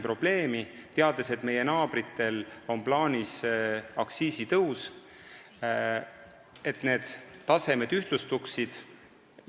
Me teame, et meie naabritel on plaanis aktsiisitõus, mis võimaldab nendel tasemetel ühtlustuda.